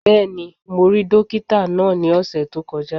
Bẹ́ẹ̀ni, mo rí dókítà náà ní ọ̀sẹ̀ tó kọjá